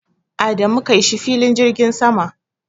Adamu kai shi filin jirgin sama.